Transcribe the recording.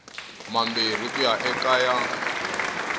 mambirhi ku ya eka ya